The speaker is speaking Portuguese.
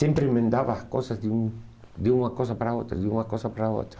Sempre emendava as coisas de um de uma coisa para a outra, de uma coisa para a outra.